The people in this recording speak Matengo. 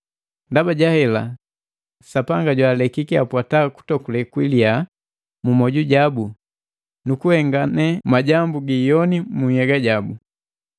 Ndaba jahela, Sapanga jwaalekiki apwata kutokule kwiliya mu myoju jabu nukuhengane majambu giiyoni mu nhyega jabu.